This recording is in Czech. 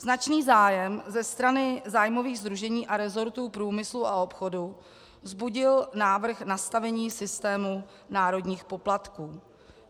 Značný zájem ze strany zájmových sdružení a resortů průmyslu a obchodu vzbudil návrh nastavení systému národních poplatků.